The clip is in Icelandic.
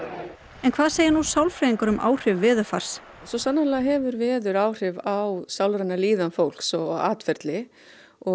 en hvað segja nú sálfræðingar um áhrif veðurfars svo sannarlega hefur veður áhrif á sálræna líðan fólks og atferli